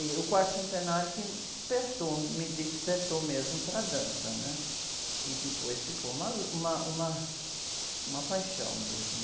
E, e o quarto centenário que me despertou, me despertou mesmo para a dança, né? Que depois ficou uma, uma, uma paixão mesmo.